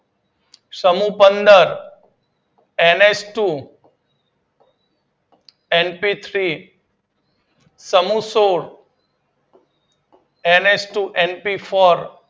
સમૂહ પપંદર NH two NP three, સમૂહ સોળ એનએચ ટુ એનપીફોર,